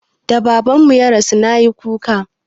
Da Babanmu ya rasu na yi kuka.